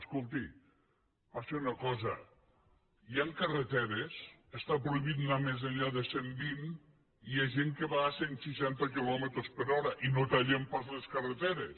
escolti passa una cosa hi han carreteres en què està prohibit anar més enllà de cent vint i hi ha gent que va a cent seixanta quilòmetres per hora i no tallem pas les carreteres